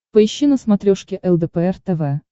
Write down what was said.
поищи на смотрешке лдпр тв